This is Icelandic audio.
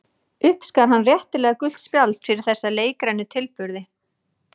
Uppskar hann réttilega gult spjald fyrir þessa leikrænu tilburði.